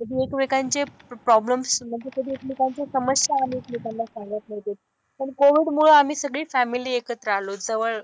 कधी एकमेकांचे प्रॉब्लेम्स म्हणजे कधी एकमेकांचे समस्या आम्ही एकमेकांना सांगत नव्हतो. पण कोविडमुळे आम्ही सगळी फॅमिली एकत्र आलो. जवळ,